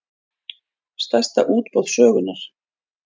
Stærsta útboð sögunnar